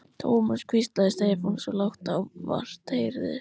Thomas hvíslaði Stefán, svo lágt að vart heyrðist.